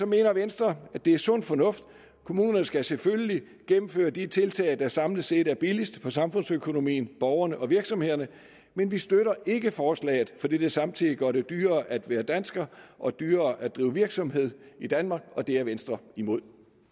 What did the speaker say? mener venstre at det er sund fornuft kommunerne skal selvfølgelig gennemføre de tiltag der samlet set er billigst for samfundsøkonomien borgerne og virksomhederne men vi støtter ikke forslaget fordi det samtidig gør det dyrere at være dansker og dyrere at drive virksomhed i danmark det er venstre imod